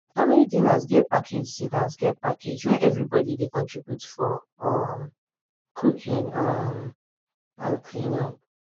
family dinners get package dinners get package when everybodi dey contribute for um cooking um and cleanup